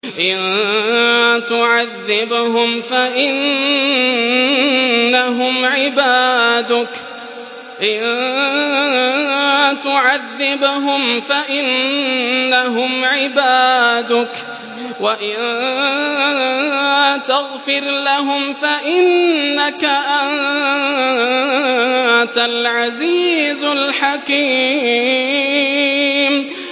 إِن تُعَذِّبْهُمْ فَإِنَّهُمْ عِبَادُكَ ۖ وَإِن تَغْفِرْ لَهُمْ فَإِنَّكَ أَنتَ الْعَزِيزُ الْحَكِيمُ